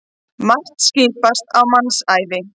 Margt skipast á mannsævi.